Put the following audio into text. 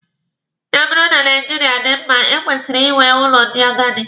Ya bụrụ na Naijiria dị mma, e kwesịrị inwe ụlọ ndị agadi.